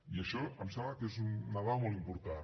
i això em sembla que és una dada molt important